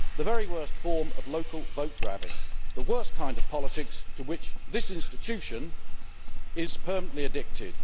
That is the very worst form of local vote grabbing the worst kind of politics to which this institution is permanently addicted.